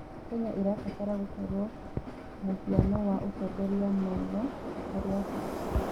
Kenya ĩrabatara gũkorwo mũhiano wa ũtongoria mwega harĩ Abirika.